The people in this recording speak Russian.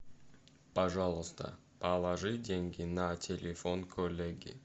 пожалуйста положи деньги на телефон коллеге